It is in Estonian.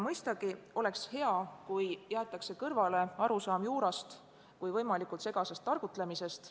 Mõistagi oleks hea, kui jäetaks kõrvale arusaam juurast kui võimalikust segasest targutlemisest.